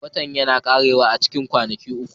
Watan yana ƙarewa a cikin kwanaki uku